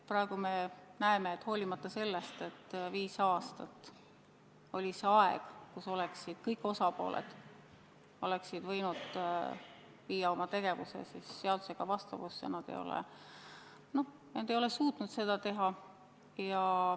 Praegu me näeme, et hoolimata sellest, et viis aastat oli kõigil osapooltel aega oma tegevus seadusega vastavusse viia, nad ei ole suutnud seda teha.